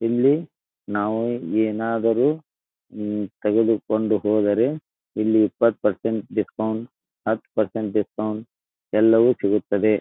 ಇಲ್ಲಿ ನಾವು ಏನಾದರು ಹಮ್ ಕೈಯಲ್ಲಿ ಇಟ್ಟುಕೊಂಡು ಹೋದರೆ ಇಲ್ಲಿ ಇಪ್ಪತ್ತು ಪರ್ಸೆಂಟ್ ಡಿಸ್ಕೌಂಟ್ ಹತ್ತು ಪರ್ಸೆಂಟ್ ಡಿಸ್ಕೌಂಟ್ ಎಲ್ಲವು ಸಿಗುತ್ತದೆ..